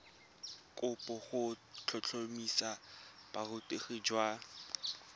kopo go tlhotlhomisa borutegi jwa